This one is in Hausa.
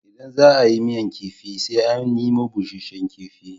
Idan za a yi miyar kifi sai an nemo busasshen kifi.